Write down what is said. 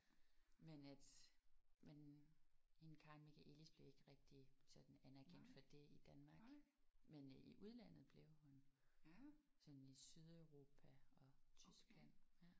Men at men hende Karin Michaëlis blev ikke rigtig sådan anerkendt for det i Danmark men øh i udlandet blev hun. Sådan i Sydeuropa og Tyskland